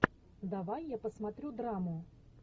давай я посмотрю драму